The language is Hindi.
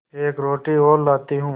एक रोटी और लाती हूँ